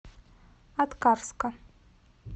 аткарска